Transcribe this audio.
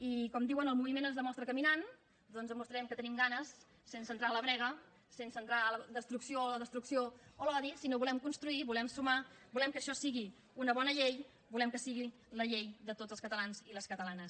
i com diuen el moviment es demostra caminant doncs demostrarem que en tenim ganes sense entrar en la brega sense entrar en la destrucció o la destrucció o l’odi sinó que volem construir volem sumar volem que això sigui una bona llei volem que sigui la llei de tots els catalans i les catalanes